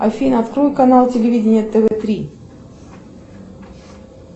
афина открой канал телевидения тв три